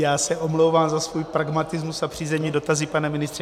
Já se omlouvám za svůj pragmatismus a přízemní dotazy, pane ministře.